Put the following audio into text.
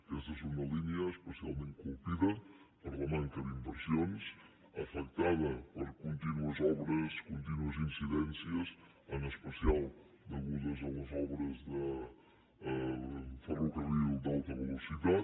aquesta és una línia especialment colpida per la manca d’inversions afectada per contínues obres contínues incidències en especial degudes a les obres del ferrocarril d’alta velocitat